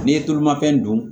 N'i ye tulu mafɛn dun